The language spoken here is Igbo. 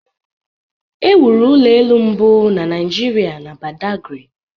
e wuru ụlọ elu mbụ na Naijiria na Badagry